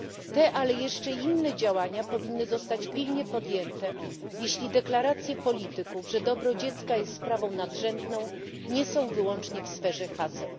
Te, ale jeszcze inne działania powinny zostać pilnie podjęte, jeśli deklaracje polityków, że dobro dziecka jest sprawą nadrzędną, nie są wyłącznie w sferze haseł.